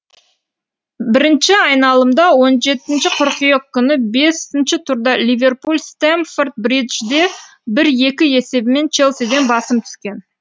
бірінші айналымда он жетінші қыркүйек күні бесінші турда ливерпуль стэмфорд бриджде бір екі есебімен челсиден басым түскен